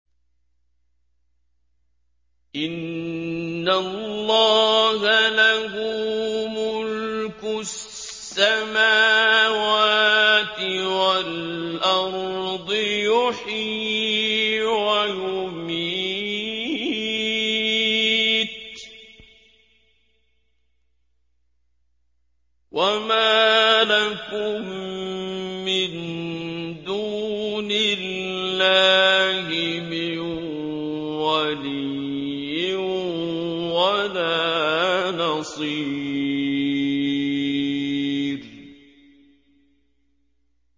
إِنَّ اللَّهَ لَهُ مُلْكُ السَّمَاوَاتِ وَالْأَرْضِ ۖ يُحْيِي وَيُمِيتُ ۚ وَمَا لَكُم مِّن دُونِ اللَّهِ مِن وَلِيٍّ وَلَا نَصِيرٍ